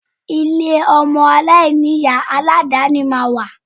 Ilé ọmọ aláìní-Ìyá alàdàáni máa wà